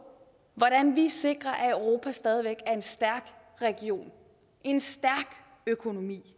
hvordan vi sikrer at europas stadig væk er en stærk region en stærk økonomi